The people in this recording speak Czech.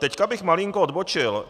Teď bych malinko odbočil.